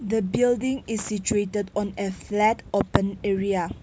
the building is situated on a flat open area.